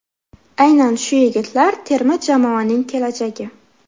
Aynan shu yigitlar terma jamoaning kelajagi.